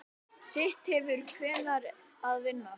Sitt hefur hver að vinna.